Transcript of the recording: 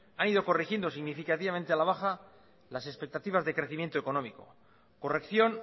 han ido corrigiendo significativamente a la baja las expectativas de crecimiento económico corrección